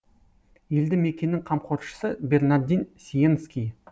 елді мекеннің қамқоршысы бернардин сиенский